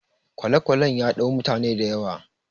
kwale-kwalen ya dau mutane da yawa